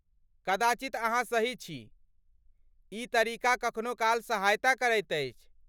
कदाचित अहाँ सही छी, ई तरीका कखनो काल सहायता करैत अछि।